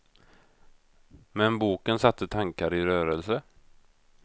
Men boken satte tankar i rörelse.